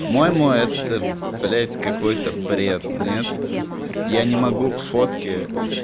по-моему это блять какой-то бред нет я не могу фотки